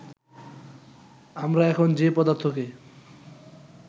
আমরা এখন যে পদার্থকে